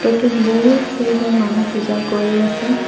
ফটোটোত বহুত কেইজন মানুহ পূজা কৰি আছে।